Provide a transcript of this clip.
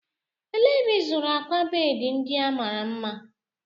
Elee ebe ịzụrụ akwa bedị ndị a mara mma?